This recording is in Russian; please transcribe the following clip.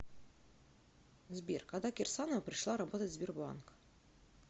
сбер когда кирсанова пришла работать в сбербанк